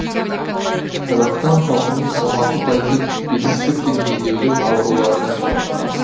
қазақстан халқының он алты пайызы белсіздік пен бедеулік ауруларына шалдыққан